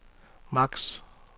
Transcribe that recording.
maks